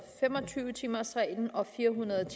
fem og tyve timers reglen og fire hundrede og